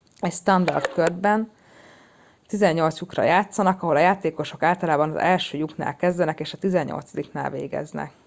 egy standard körben 18 lyukra játszanak ahol a játékosok általában az első lyuknál kezdenek és a tizennyolcadiknál végeznek